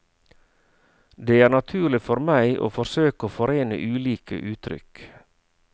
Det er naturlig for meg å forsøke å forene ulike uttrykk.